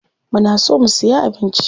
Muna so mu siya abinci.